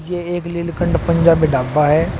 ये एक लीलकंठ पंजाबी ढाबा है।